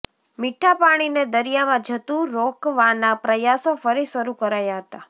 મીઠા પાણીને દરિયામાં જતું રોકવાના પ્રયાસો ફરી શરૂ કરાયા હતા